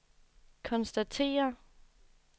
konstatere